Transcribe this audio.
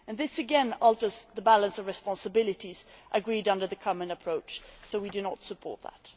This again alters the balance of responsibilities agreed under the common approach, so we do not support it.